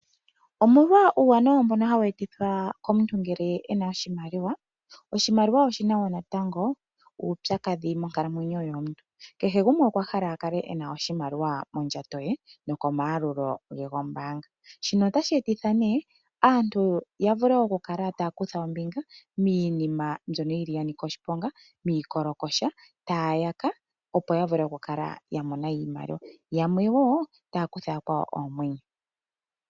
Omolwa uuwanawa mbono hawu etitha komuntu ngele e na oshimaliwa. Oshimaliwa oshi na wo natango uupyakadhi monkalamwenyo yomuntu, kehe gumwe okwa hala a kale e na oshimaliwa mondjato ye nokomayalulo ge gombaanga. Shino otashi e titha nduno aantu ya vule okukala taya kutha ombinga miinima mbyono ya nika oshiponga, miikolokosha, taya yaka, opo ya vule okukala ya mona iimaliwa. Yamwe wo otaya kutha yakwawo oomwenyo.